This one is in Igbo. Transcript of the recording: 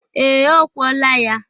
Ee, ọ kwọla ya.